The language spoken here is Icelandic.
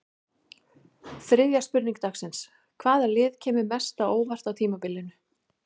Þriðja spurning dagsins: Hvaða lið kemur mest á óvart á tímabilinu?